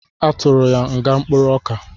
A tụrụ ya nga mkpụrụoka